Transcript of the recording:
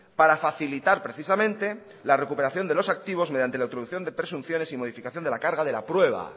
para facilitar precisamente la recuperación de los activos mediante la introducción de presunciones y modificación de la carga de la prueba